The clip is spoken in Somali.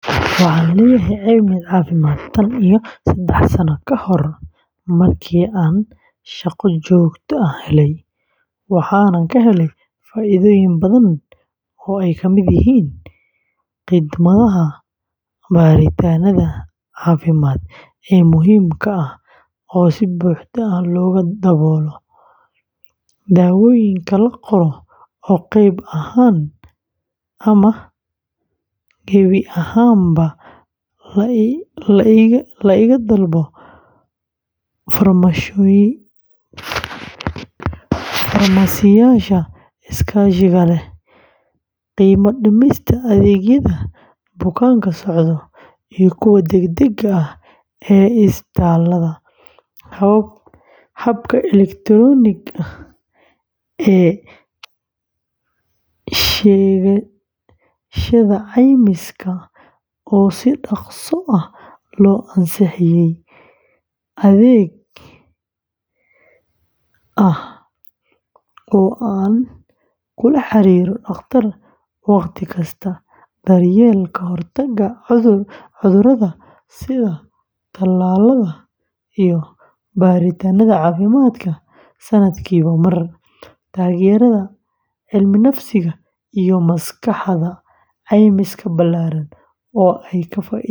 Waxaan leeyahay caymis caafimaad tan iyo saddex sano ka hor markii aan shaqo joogto ah helay, waxaanan ka helay faa’iidooyin badan oo ay ka mid yihiin khidmadda baaritaannada caafimaad ee muhiimka ah oo si buuxda looga daboolo, daawooyinka la qoro oo qayb ahaan ama gebi ahaanba la iga daboolo farmashiyeyaasha iskaashiga leh, qiimo dhimista adeegyada bukaan-socodka iyo kuwa deg-degga ah ee isbitaallada, habka elektarooniga ah ee sheegashada caymiska oo si dhaqso ah loo ansixiyaa, adeeg ah oo aan kula xiriiro dhakhtar waqti kasta, daryeelka ka hortagga cudurada sida tallaalada iyo baaritaannada caafimaadka sanadkiiba mar, taageerada cilminafsiga iyo maskaxda, caymis ballaaran oo ay ka faa’iidaystaan.